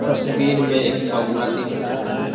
तस्वीर में एक बगुला दिख रहा है।